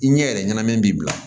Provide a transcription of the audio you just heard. I ɲɛ yɛrɛ ɲanam'i la